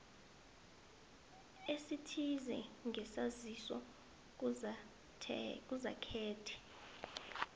ezithize ngesaziso kugazethe